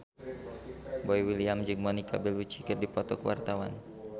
Boy William jeung Monica Belluci keur dipoto ku wartawan